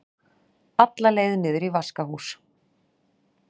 alla leið niður í vaskahús.